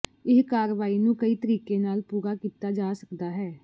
ਇਹ ਕਾਰਵਾਈ ਨੂੰ ਕਈ ਤਰੀਕੇ ਨਾਲ ਪੂਰਾ ਕੀਤਾ ਜਾ ਸਕਦਾ ਹੈ